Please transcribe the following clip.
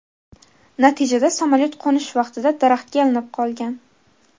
Natijada samolyot qo‘nish vaqtida daraxtga ilinib qolgan.